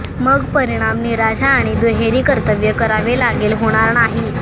मग परिणाम निराशा आणि दुहेरी कर्तव्य करावे लागेल होणार नाही